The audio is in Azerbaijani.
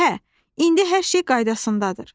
Hə, indi hər şey qaydasındadır.